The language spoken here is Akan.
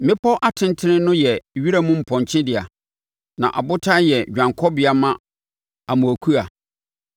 Mmepɔ atentene no yɛ wiram mpɔnkye dea; na abotan yɛ dwanekɔbea ma amoakua.